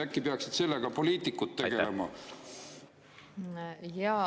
Äkki peaksid sellega poliitikud tegelema?